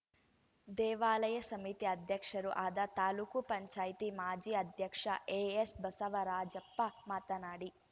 ದೇವಾಲಯ ಸಮಿತಿ ಅಧ್ಯಕ್ಷರೂ ಆದ ತಾಲೂಕ್ ಪಂಚಾಯತಿ ಮಾಜಿ ಅಧ್ಯಕ್ಷ ಎಎಸ್‌ ಬಸವರಾಜಪ್ಪ ಮಾತನಾಡಿ